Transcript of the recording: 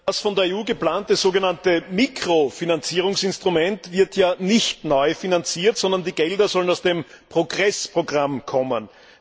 Das von der EU geplante so genannte Mikrofinanzierungsinstrument wird ja nicht neu finanziert, sondern die Gelder sollen aus dem PROGRESS Programm kommen.